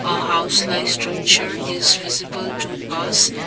a house like structure is visible to us.